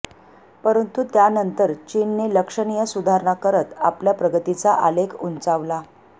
परंतु त्यानंतर चीनने लक्षणीय सुधारणा करत आपल्या प्रगतीचा आलेख उंचावला